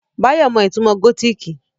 Báyọ̀ mọ ìtumò gótìkì